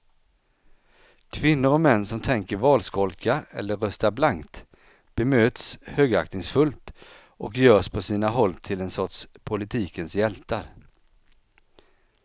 Kvinnor och män som tänker valskolka eller rösta blankt bemöts högaktningsfullt och görs på sina håll till en sorts politikens hjältar.